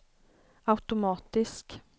automatisk